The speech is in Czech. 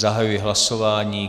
Zahajuji hlasování.